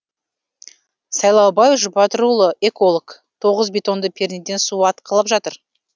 сайлаубай жұбатырұлы эколог тоғыз бетонды пернеден су атқылап жатыр